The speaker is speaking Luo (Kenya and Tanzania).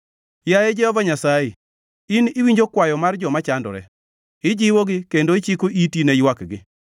Yaye Jehova Nyasaye, in iwinjo kwayo mar joma chandore; ijiwogi, kendo ichiko iti ni ywakgi,